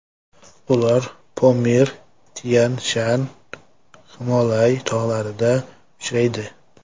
Ular Pomir, Tyan-Shan, Himolay tog‘larida uchraydi.